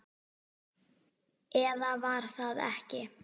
Eða var það ekki?